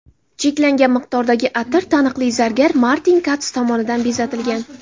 Cheklangan miqdordagi atir taniqli zargar Martin Kats tomonidan bezatilgan.